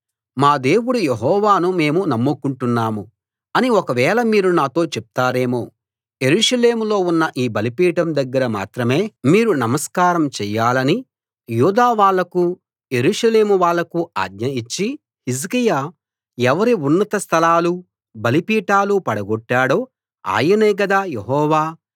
మా దేవుడు యెహోవాను మేము నమ్ముకుంటున్నాము అని ఒకవేళ మీరు నాతో చెప్తారేమో యెరూషలేములో ఉన్న ఈ బలిపీఠం దగ్గర మాత్రమే మీరు నమస్కారం చెయ్యాలని యూదా వాళ్ళకూ యెరూషలేము వాళ్ళకూ ఆజ్ఞ ఇచ్చి హిజ్కియా ఎవరి ఉన్నత స్థలాలూ బలిపీఠాలూ పడగొట్టాడో ఆయనే గదా యెహోవా